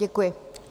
Děkuji.